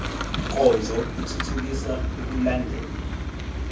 nkonzo ithuthukisa ukulandelwa